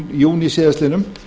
júní síðastliðinn